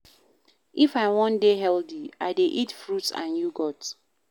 If I wan dey healthy, I dey eat fruits and yogurt.